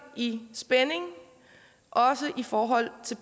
i spænding også i forhold til